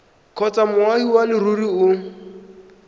kgotsa moagi wa leruri o